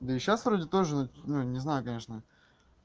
да и сейчас вроде тоже ну я не знаю конечно